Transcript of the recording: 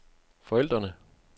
forældrene